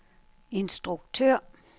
instruktør